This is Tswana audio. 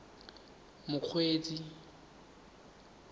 mokgweetsi